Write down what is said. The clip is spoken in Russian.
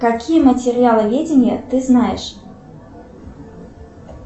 какие материаловедения ты знаешь